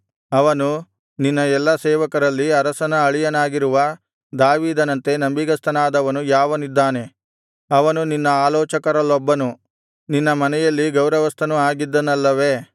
ಅವನು ನಿನ್ನ ಎಲ್ಲಾ ಸೇವಕರಲ್ಲಿ ಅರಸನ ಅಳಿಯನಾಗಿರುವ ದಾವೀದನಂತೆ ನಂಬಿಗಸ್ತನಾದವನು ಯಾವನಿದ್ದಾನೆ ಅವನು ನಿನ್ನ ಆಲೋಚಕರಲ್ಲೊಬ್ಬನು ನಿನ್ನ ಮನೆಯಲ್ಲಿ ಗೌರವಸ್ಥನೂ ಆಗಿದ್ದನಲ್ಲವೇ